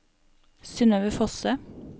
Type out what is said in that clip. Synøve Fosse